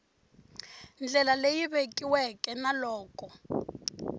ndlela leyi vekiweke na loko